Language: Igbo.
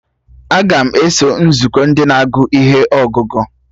Aga m eso nzukọ Ndị na-agụ ihe ọgụgụ